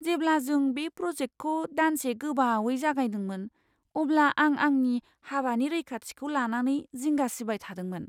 जेब्ला जों बे प्रजेक्टखौ दानसे गोबावै जागायदोंमोन, अब्ला आं आंनि हाबानि रैखाथिखौ लानानै जिंगा सिबाय थादोंमोन।